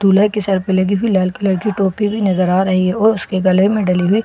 दूल्हे के सिर पे लगी हुई लाल कलर की टोपी नजर आ रही है और उसके गले में डाली हुई फूलों की --